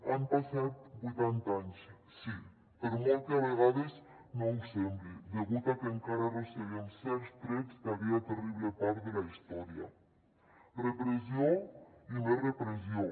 han passat vuitanta anys sí per molt que a vegades no ho sembli degut a que encara arrosseguem certs trets d’aquella terrible part de la història repressió i més repressió